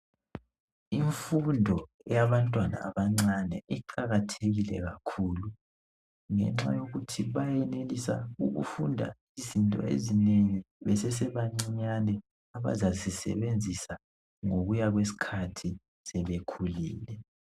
Imfundo yabantwana abancane iqakathekile kakhulu, ngenxa yokuthi bayenelisa ukufunda izinto ezinengi besesebancinyane, abazazisebenzisa ngokuya kweskhathi sebekhulile.